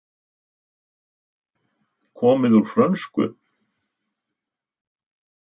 Komið úr frönsku.